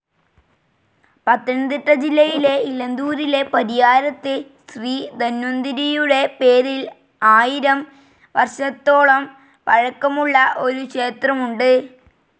പത്തനംതിട്ട ജില്ലയിലെ ഇലന്തൂരിലെ പരിയാരത്ത് ശ്രീ ധന്വന്തരിയുടെ പേരിൽ ആയിരം വർഷത്തോളം പഴക്കമുള്ള ഒരു ക്ഷേത്രമുണ്ട്.